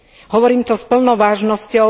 Hovorím to s plnou vážnosťou.